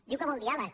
diu que vol diàleg